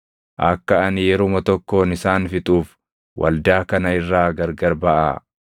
“Akka ani yeruma tokkoon isaan fixuuf waldaa kana irraa gargar baʼaa.”